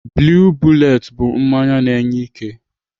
Blue bullet bụ mmanya na-enye ike.